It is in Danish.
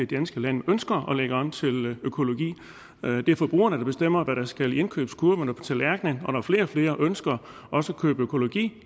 danske land ønsker at lægge om til økologi det er forbrugerne der bestemmer hvad der skal i indkøbskurven og på tallerkenen og når flere og flere ønsker også at købe økologi